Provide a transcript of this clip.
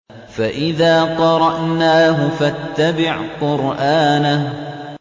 فَإِذَا قَرَأْنَاهُ فَاتَّبِعْ قُرْآنَهُ